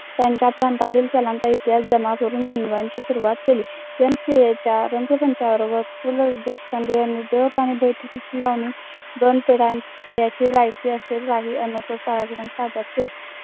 पु ल देशपांडे यांनी